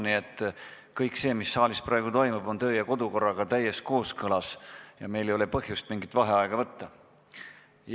Nii et kõik see, mis saalis praegu toimub, on kodu- ja töökorraga täies kooskõlas ja meil ei ole põhjust mingit vaheaega võtta.